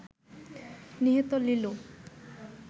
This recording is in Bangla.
নিহত লিলু